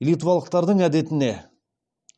литвалықтардың әдетіне